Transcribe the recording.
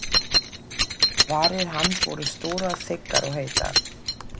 Varir hans voru stórar þykkar og heitar.